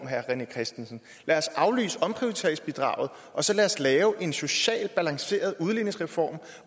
herre rené christensen lad os aflyse omprioriteringsbidraget og så lad os lave en socialt balanceret udligningsreform